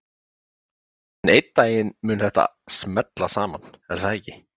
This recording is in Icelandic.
En einn daginn mun þetta smella saman, er það ekki?